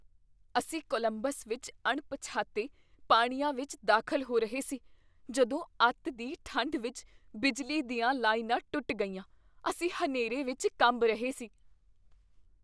ਅਸੀਂ ਕੋਲੰਬਸ ਵਿੱਚ ਅਣਪਛਾਤੇ ਪਾਣੀਆਂ ਵਿੱਚ ਦਾਖ਼ਲ ਹੋ ਰਹੇ ਸੀ ਜਦੋਂ ਅਤਿ ਦੀ ਠੰਡ ਵਿੱਚ ਬਿਜਲੀ ਦੀਆਂ ਲਾਈਨਾਂ ਟੁੱਟ ਗਈਆਂ, ਅਸੀਂ ਹਨੇਰੇ ਵਿੱਚ ਕੰਬ ਰਹੇ ਸੀ।